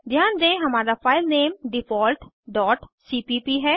ध्यान दें हमारा फाइलनेम डिफॉल्ट डॉट सीपीप है